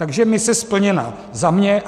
Takže mise splněna za mě.